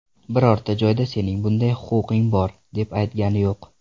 Birorta joyda sening bunday huquqing bor, deb aytgani yo‘q.